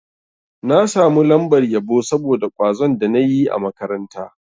Na samu lambar yabo saboda kwazon da na yi a makaranta.